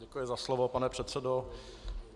Děkuji za slovo, pane předsedo.